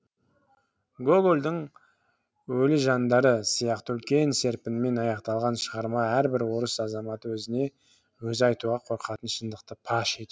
гогольдің өлі жандары сияқты үлкен серпінмен аяқталған шығарма әрбір орыс азаматы өзіне өзі айтуға қорқатын шындықты паш етеді